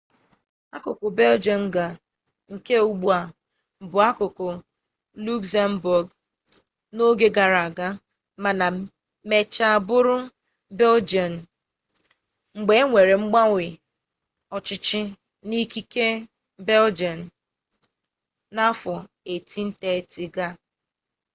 akụkụ beljọm ga nke ugbua bụbu akụkụ lukzembọọgụ n'oge gara aga mana mechaa bụrụ beljian mgbe e nwere mgbanwe ọchịchị n'ike nke beljian n'afọ 1830 ga